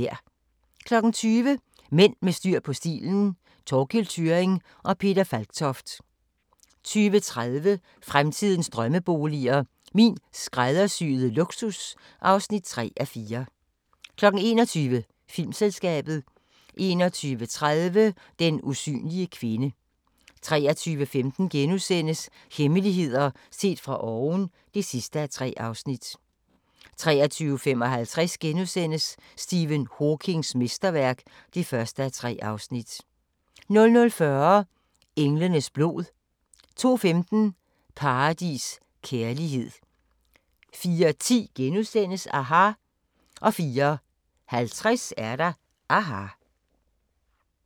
20:00: Mænd med styr på stilen – Thorkild Thyrring & Peter Falktoft 20:30: Fremtidens drømmeboliger: Min skræddersyede luksus (3:4) 21:00: Filmselskabet 21:30: Den usynlige kvinde 23:15: Hemmeligheder set fra oven (3:3)* 23:55: Stephen Hawkings mesterværk (1:3)* 00:40: Englenes blod 02:15: Paradis: Kærlighed 04:10: aHA! * 04:50: aHA!